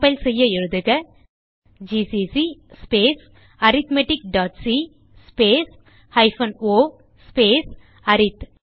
compile செய்ய எழுதுகgcc space arithmeticசி ஸ்பேஸ் o ஸ்பேஸ் அரித்